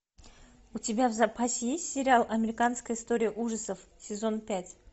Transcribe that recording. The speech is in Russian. у тебя в запасе есть сериал американская история ужасов сезон пять